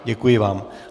Děkuji vám.